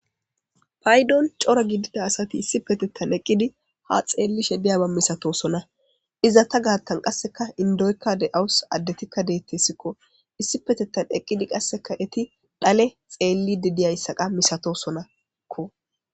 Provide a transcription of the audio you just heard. paydon cora gidida asati issi petettan eqqidi ha xeellishe biyaba misatosona iza ta gaattan qasseka indoykka de7awus addetikka deettessikko issi petettan eqqidi qasseka eti dhale xeellidi diyayssaqa misatosonakko